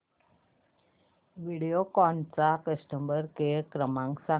व्हिडिओकॉन चा customer care क्रमांक सांगा